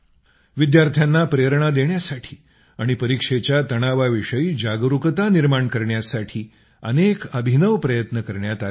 विद्यार्थ्यांना प्रेरणा देण्यासाठी आणि परीक्षेच्या तणावाविषयी जागरूकता निर्माण करण्यासाठी अनेक अभिनव प्रयत्न करण्यात आले आहेत